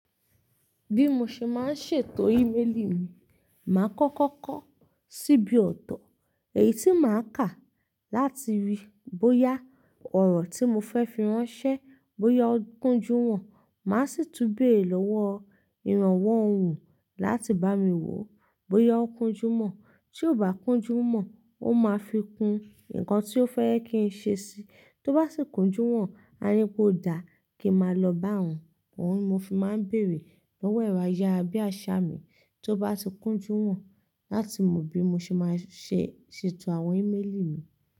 Bí mo ṣe máa ń ṣètò íméèlì mi, màá kọ́kọ́ kọ́ ṣíbí ọ̀tọ̀. Èyí tí màá kà láti ríi bóyá ọ̀rọ̀ tí mo fẹ́ fi ránṣẹ́ bóyá ó kúnjú wọn. Màá sì tún bere lọ́wọ́ ìrànwọ́ òun láti bá mi wò ó bóyá ó kúnjú mọ́. Tí ò bá kúnjú mọ́, ó máa fi kún ǹkan tí ó fẹ́ kí ń ṣe sí i. Tó bá sì kúnjú wọ́n, a ní pé ó dá kí máa lọ bá òun. Òun ni mo fi máa ń bèrè lọ́wọ́ ẹ̀rọ ayára bí àṣá mi tó bá ti kúnjú wọ́n láti mọ bí mo ṣe máa ṣe ṣètò àwọn íméèlì mi.